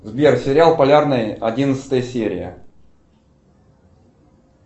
сбер сериал полярный одиннадцатая серия